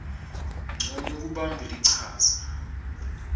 ncono kubamba lichaza